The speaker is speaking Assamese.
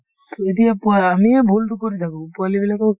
to এতিয়া পোৱা আমিয়ে ভূলটো কৰি থাকো পোৱালিবিলাকক